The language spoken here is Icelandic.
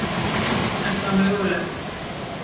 Er það mögulegt?